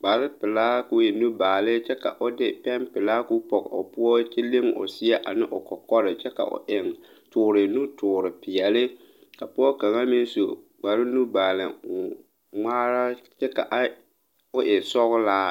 kparepelaa ko e nubaale kyɛ ka o de pɛnpilaa koo pɔge o poɔ kyɛ leŋ o seɛ ane o kɔkɔre a kyɛ ka o eŋ toore nutoore peɛle ka pɔɔ kaŋa meŋ su kpare nubaali ngmaara kyɛ ka a o e sɔglaa.